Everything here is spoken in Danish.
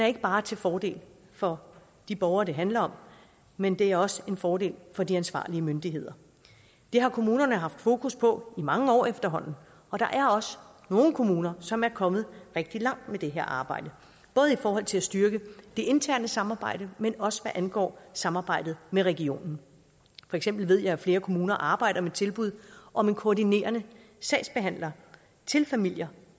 ikke bare til fordel for de borgere det handler om men det er også en fordel for de ansvarlige myndigheder det har kommunerne haft fokus på i mange år efterhånden og der er også nogle kommuner som er kommet rigtig langt med det her arbejde både i forhold til at styrke det interne samarbejde men også hvad angår samarbejdet med regionen for eksempel ved jeg at flere kommuner arbejder med tilbud om en koordinerende sagsbehandler til familier